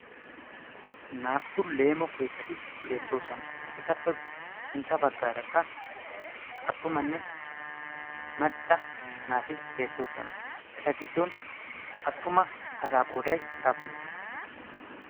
naa"u leemo keettati beettoosona etappe sintta baggaarakka attumanne macca naati beettoosona eta giddon attuma asa qooday aappune?